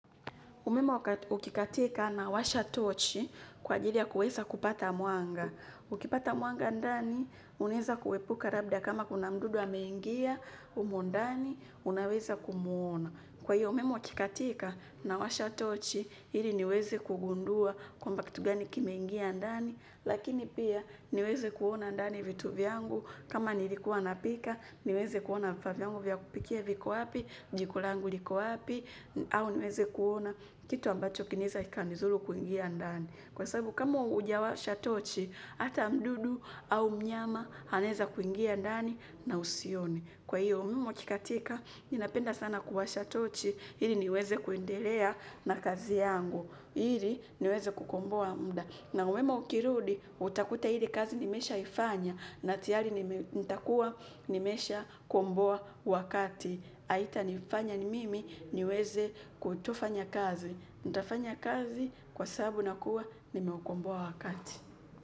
Umeme ukikatika nawasha tochi kwa ajili ya kuweza kupata mwanga. Ukipata mwanga ndani, unaweza kuepuka labda kama kuna mdudu amengia, humo ndani, unaweza kumuona. Kwa hiyo umeme ukikatika nawasha tochi, ili niweze kugundua kwamba kitu gani kimengia ndani, lakini pia niweze kuona ndani vitu vyangu, kama nilikuwa napika, niweze kuona vifaa vyangu vya kupikia viko wapi, jiko langu liko wapi, au niweze kuona, kitu ambacho kinaweza kika nidhuru kuingia ndani. Kwa sababu, kama huja washa tochi, ata mdudu au mnyama, anaweza kuingia ndani na usione. Kwa hiyo umeme ukikatika ninapenda sana kuwasha tochi ili niweze kuendelea na kazi yangu ili niweze kukomboa muda. Na umeme ukirudi, utakuta ile kazi nimesha ifanya, na tayari nitakuwa nimesha komboa wakati. Haita nifanya mimi niweze kutofanya kazi. Nitafanya kazi kwa sababu na kuwa nimeukomboa wakati.